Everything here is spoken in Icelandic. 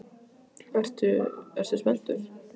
Ertu, ertu spenntur?